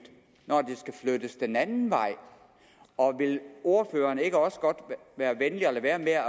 når det skal flyttes den anden vej og vil ordføreren ikke også godt være venlig at lade være